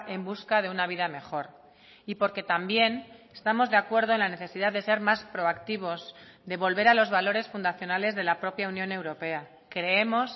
en busca de una vida mejor y porque también estamos de acuerdo en la necesidad de ser más proactivos de volver a los valores fundacionales de la propia unión europea creemos